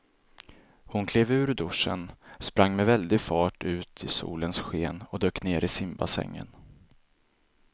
Hon klev ur duschen, sprang med väldig fart ut i solens sken och dök ner i simbassängen.